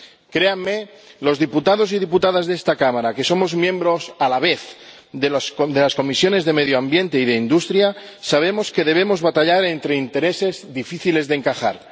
Créanme, los diputados y las diputadas de esta Cámara que somos miembros, a la vez, de las Comisiones de Medio Ambiente y de Industria sabemos que debemos batallar entre intereses difíciles de encajar.